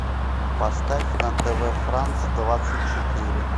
поставь на тв франс двадцать четыре